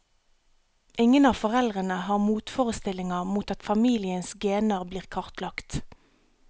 Ingen av foreldrene har motforestillinger mot at familiens gener blir kartlagt.